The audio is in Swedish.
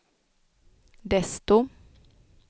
desto